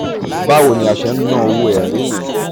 2. báwo ni a ṣe ń ná owó ẹ̀rí yẹn?